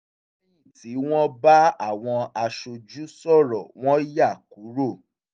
lẹ́yìn tí wọ́n bá àwọn aṣojú sọrọ wọ́n yá kúrò